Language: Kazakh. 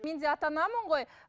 мен де ата анамын ғой